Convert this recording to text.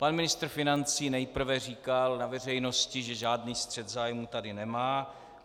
Pan ministr financí nejprve říkal na veřejnosti, že žádný střet zájmu tady nemá.